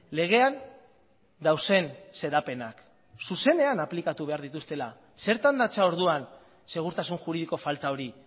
legean dauden xedapenak zuzenean aplikatu behar dituztela zertan datza orduan segurtasun juridiko falta hori